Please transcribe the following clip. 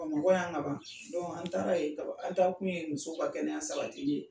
Bamakɔ yan ka ban, an taara ye ka ban, an taa kun ye muso ba kɛnɛya sabatili ye.